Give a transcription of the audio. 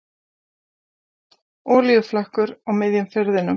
Olíuflekkur á miðjum firðinum